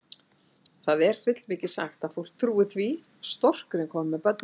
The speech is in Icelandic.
Það er fullmikið sagt að fólk trúi því að storkurinn komi með börnin.